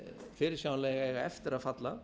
fyrirsjáanlega eiga eftir að falla